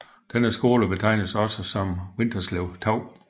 Denne skole betegnes også som Vinterslev 2